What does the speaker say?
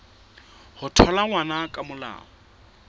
ho thola ngwana ka molao